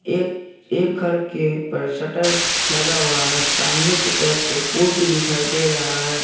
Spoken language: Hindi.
एक एक घर के पर शटर लगा हुआ है। सामने की तरफ एक पोल भी दिखाई दे रहा है।